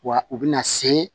Wa u bɛna se